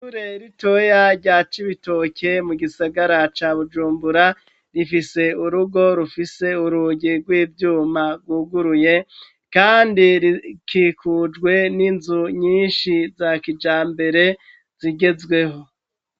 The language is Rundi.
Ishure ritoya rya Cibitoke mu gisagara ca Bujumbura rifise urugo rufise urugi rw'ivyuma rwuguruye kandi rikikujwe n'inzu nyinshi za kijambere zigezweho.